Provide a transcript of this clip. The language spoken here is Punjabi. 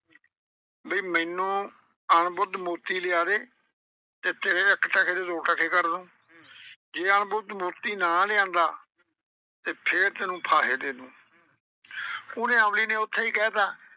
ਬਈ ਮੈਨੂੰ ਅਣ ਬੁੱਧ ਮੋਤੀ ਲਿਆ ਦੇ ਤੇ ਤੇਰੇ ਇਕ ਟਕੇ ਦੇ ਦੋ ਟਕੇ ਕਰ ਦੂੰ। ਜੇ ਅਣ ਬੁੱਧ ਮੋਤੀ ਨਾ ਲਿਆਂਦਾ ਤੇ ਫੇਰ ਤੈਨੂੰ ਫਾਹੇ ਦੇ ਦੂੰ ਉਹਨੇ ਅਮਲੀ ਨੇ ਉੱਥੇ ਈ ਕਹਿ ਤਾ,